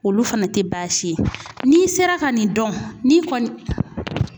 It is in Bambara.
Olu fana tɛ baasi ye n'i sera ka nin dɔn ni kɔni